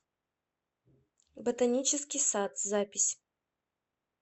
ботанический сад запись